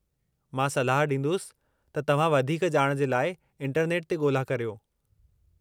मां सलाहु ॾींदुसि त तव्हां वधीक ॼाण जे लाइ इंटरनेट ते ॻोल्हा करियो।